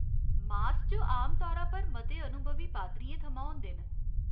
मास च आमतौरा पर मते अनुभवी पादरियें थमां होंदे न।